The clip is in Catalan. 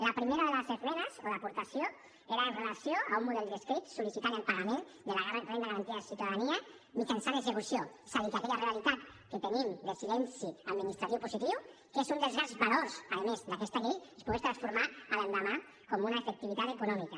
la primera de les esmenes o d’aportacions era amb relació a un model d’escrit sol·licitant el pagament de la renda garantida de ciutadania mitjançant execució és a dir que aquella realitat que tenim de silenci administratiu positiu que és un dels grans valors a més d’aquesta llei es pogués transformar l’endemà com una efectivitat econòmica